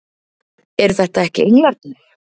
Eru þetta ekki englarnir!